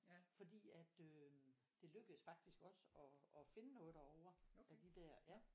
Fordi at øh det lykkedes faktisk også og og finde noget derover af de der ja